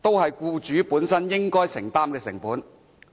都是僱主本身應承擔的成本。